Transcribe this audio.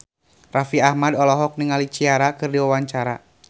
Raffi Ahmad olohok ningali Ciara keur diwawancara